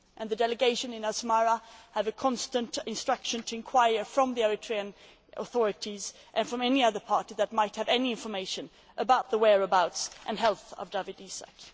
The delegation in Asmara has a constant instruction to inquire of the Eritrean authorities, and any other party that might have any information, about the whereabouts and health of Dawit Isaak.